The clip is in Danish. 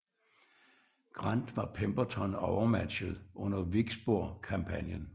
Grant var Pemberton overmatchet under Vicksburg kampagnen